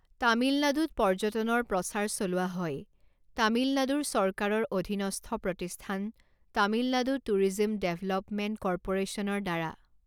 তামিলনাডুত পৰ্যটনৰ প্ৰচাৰ চলোৱা হয় তামিলনাডুৰ চৰকাৰৰ অধীনস্থ প্ৰতিস্থান তামিলনাডু টুৰিজম ডেভলপমেণ্ট ক'ৰ্পোৰেচনৰ দ্বাৰা।